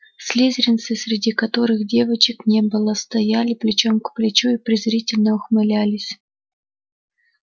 слизеринцы среди которых девочек не было стояли плечом к плечу и презрительно ухмылялись